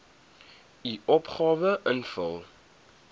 u opgawe invul